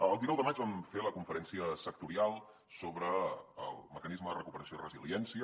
el dinou de maig vam fer la conferència sectorial sobre el mecanisme de recuperació i resiliència